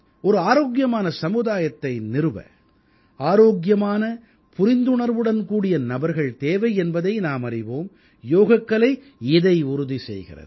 ஒரு ஆரோக்கியமான சமூகத்தை நிறுவ ஆரோக்கியமான புரிந்துணர்வுடன் கூடிய நபர்கள் தேவை என்பதை நாம் அறிவோம் யோகக்கலை இதை உறுதி செய்கிறது